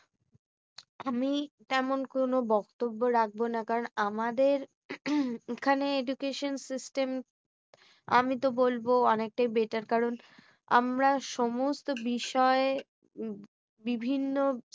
আমি তেমন কোনো বক্তব্য রাখবো না। কারণ আমাদের এখানে education system আমি তো বলব অনেকটাই better কারণ আমরা সমস্ত বিষয় উহ বিভিন্ন